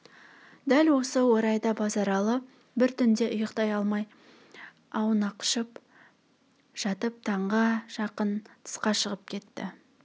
дәл осы орайда базаралы бір түнде ұйқтай алмай аунақшып жатып таңға жақын тысқа шығып кетті